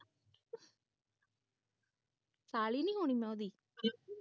ਸਾਲੀ ਨਹੀਂ ਮੈਂ ਹੋਣੀ ਉਹਦੀ